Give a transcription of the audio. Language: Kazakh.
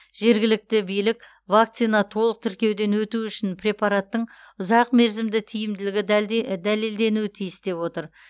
жергілікті билік вакцина толық тіркеуден өтуі үшін препараттың ұзақ мерзімді тиімділігі дәлелденуі тиіс деп отыр